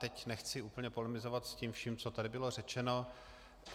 Teď nechci úplně polemizovat s tím vším, co tady bylo řečeno.